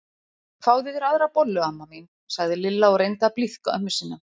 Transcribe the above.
Fáðu þér aðra bollu amma mín sagði Lilla og reyndi að blíðka ömmu sína.